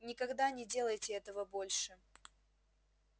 никогда не делайте этого больше